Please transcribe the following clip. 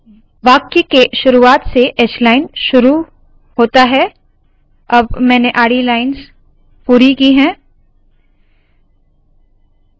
वाक्य के शुरुवात से hline शुरू होता है अब मैंने आडी लाइन्स पूरी की है